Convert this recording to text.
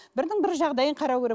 бірінің бірі жағдайын қарау керек